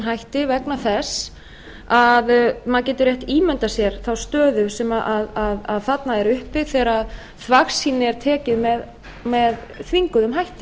hætti vegna þess að maður getur rétt ímyndað sér þá stöðu sem þarna er uppi þegar þvagsýni er tekið með þvingunum hætti